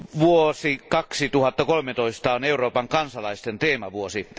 Vuosi 2013 on Euroopan kansalaisten teemavuosi.